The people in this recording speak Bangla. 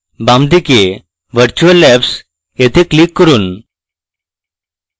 বাম দিকে virtual labs এ click করুন